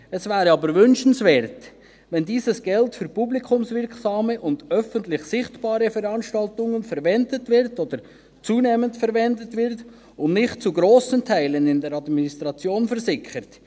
Es wäre aber wünschenswert, wenn dieses Geld für publikumswirksame und öffentlich sichtbare Veranstaltungen verwendet oder zunehmend verwendet wird und nicht zu grossen Teilen in der Administration versickert.